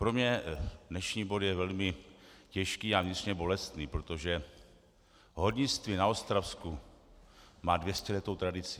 Pro mě dnešní bod je velmi těžký a vnitřně bolestný, protože hornictví na Ostravsku má dvěstěletou tradici.